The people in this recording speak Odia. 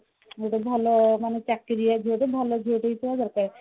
ଗୋଟେ ଭଲ ମାନେ ଚାକିରିଆ ଝିଅଟେ ଭଲ ଝିଅଟେ ହେଇଥିବା ଦରକାର